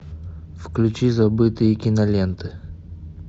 включи забытые киноленты